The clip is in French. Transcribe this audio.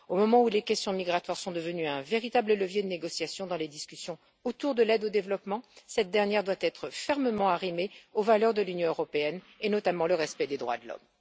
Au moment où les questions migratoires sont devenues un véritable levier de négociation dans les discussions sur l'aide au développement, cette dernière doit être fermement arrimée aux valeurs de l'Union européenne, notamment le respect des droits de l'homme.